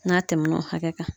N'a tɛmɛn'o hakɛ kan.